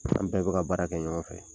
An bɛɛ bɛ ka baara kɛ ɲɔgɔn fɛ